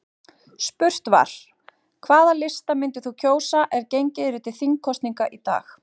Spurt var: Hvaða lista myndir þú kjósa ef gengið yrði til þingkosninga í dag?